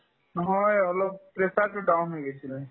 নহয় অলপ pressure তো down হৈ গৈছিলে